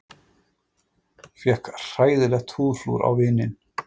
Fékk hræðilegt húðflúr á vininn